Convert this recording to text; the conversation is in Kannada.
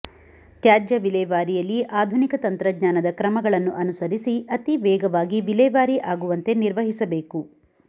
ತ್ಯಾಜ್ಯ ವಿಲೇವಾರಿಯಲ್ಲಿ ಆಧುನಿಕ ತಂತ್ರಜ್ಞಾನದ ಕ್ರಮಗಳನ್ನು ಅನುಸರಿಸಿ ಅತಿ ವೇಗವಾಗಿ ವಿಲೇವಾರಿ ಆಗುವಂತೆ ನಿರ್ವಹಿಸಬೇಕು